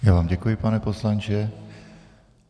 Já vám děkuji, pane poslanče.